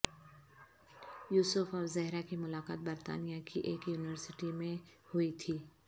یوسف اور زہرہ کی ملاقات برطانیہ کی ایک یونیوسٹی میں ہوئی تھی